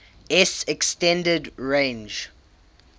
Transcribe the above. s extended range